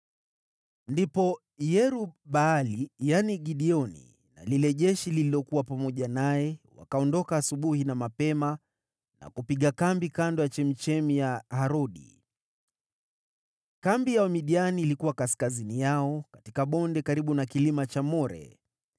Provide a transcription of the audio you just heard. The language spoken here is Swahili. Ndipo Yerub-Baali (yaani Gideoni) na lile jeshi lililokuwa pamoja naye, wakaondoka asubuhi na mapema na kupiga kambi kando ya chemchemi ya Harodi. Kambi ya Wamidiani ilikuwa kaskazini yao katika bonde karibu na kilima cha More.